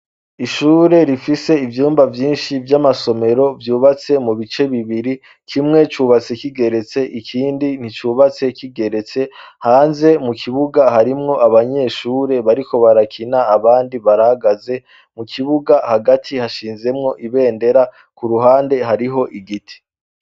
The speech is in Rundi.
Ishure rifise ivyumba vyinshi vy'amasomero vyubatse mu bice bibiri kimwe cubatse kigeretse ikindi nticubatse kigeretse hanze mu kibuga harimwo abanyeshure bariko barakina abandi baragaze mu kibuga hagati hashinzemwo ibendera ku ruhande hariho igiti.